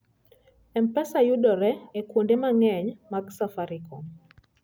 M-Pesa yudore e kuonde mang'eny mag Safaricom.